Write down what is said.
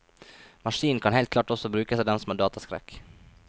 Maskinen kan helt klart også brukes av dem som har dataskrekk.